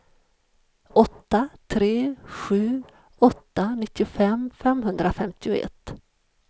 åtta tre sju åtta nittiofem femhundrafemtioett